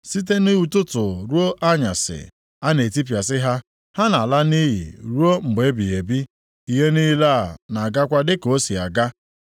Site nʼụtụtụ ruo nʼanyasị, a na-etipịasị ha: ha na-ala nʼiyi ruo mgbe ebighị ebi, ihe niile a na-agakwa dịka o si aga.